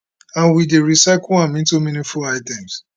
and we dey recycle am into meaningful items